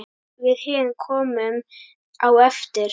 Við hin komum á eftir.